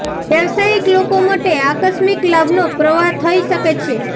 વ્યાવસાયિક લોકો મટે આકસ્મિક લાભ નો પ્રવાહ થઈ શકે છે